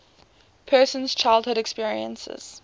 person's childhood experiences